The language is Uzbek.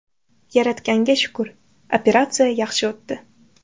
Yaratganga shukr, operatsiya yaxshi o‘tdi.